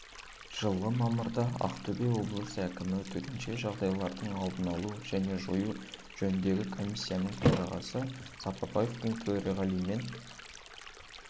жылғы мамырда ақтөбе облысы әкімі төтенше жағдайлардың алдын алу және жою жөніндегі комиссияның төрағасы сапарбаевтың төрағалығымен